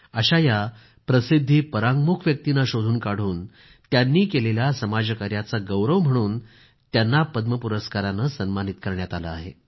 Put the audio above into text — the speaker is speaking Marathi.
अशा या प्रसिद्धी परांङ्मुख व्यक्तींना शोधून काढून त्यांनी केलेल्या समाज कार्याचा गौरव म्हणून त्यांना पद्मश्री पुरस्काराने सन्मानित करण्यात आले आहे